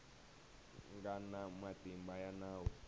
nga na matimba ya nawu